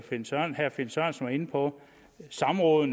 herre finn sørensen var inde på de samråd